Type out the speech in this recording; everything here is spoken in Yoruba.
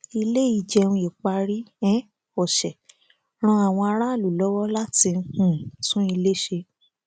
ilé ìjẹun ìparí um ọsẹ ran àwọn aráàlú lọwọ láti um tún ilé ṣe